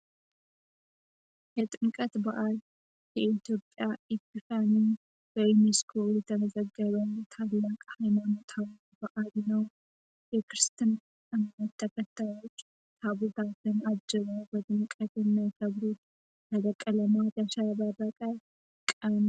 የጥምቀት ባዓል በኢትዮጵያ አሉት ሀይማኖት በዩኒስኮ የተመዘገበ ታላቅ ሀይማኖት ነዉ። የክርስትና እምነት ተከታዮች መብታቸዉን አጅበው በድምቀት የሚያከብሩት ያማረና ያሸበረቀ ታላቅ ባዓል ነዉ።